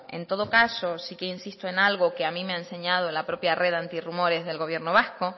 en todo caso sí que insisto en algo que a mí me ha enseñado la propia red antirumores del gobierno vasco